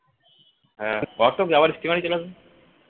auto কি আবার steamer এ চলে আসবো